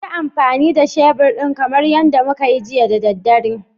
Yi amfani da shebur ɗin kamar yadda muka yi jiya da daddare